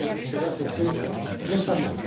Cela s'est fait récemment.